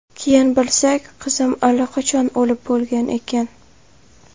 Keyin bilsak, qizim allaqachon o‘lib bo‘lgan ekan.